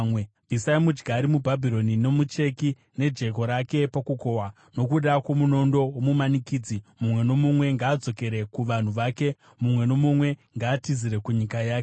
Bvisai mudyari muBhabhironi, nomucheki nejeko rake pakukohwa. Nokuda kwomunondo womumanikidzi mumwe nomumwe ngaadzokere kuvanhu vake, mumwe nomumwe ngaatizire kunyika yake.